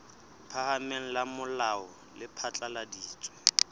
phahameng la molao le phatlaladitse